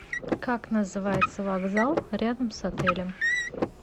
как называется вокзал рядом с отелем